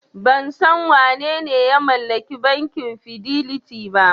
Ban san wanene ya mallaki bankin Fidelity ba.